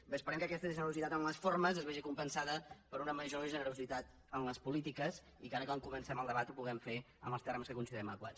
bé esperem que aquesta generositat en les formes es vegi compensada per una major generositat en les polítiques i que ara quan comencem el debat ho puguem fer en els termes que considerem adequats